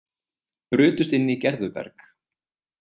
Brutust inn í Gerðuberg